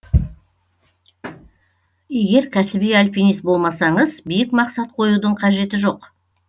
егер кәсіби альпинист болмасаңыз биік мақсат қоюдың қажеті жоқ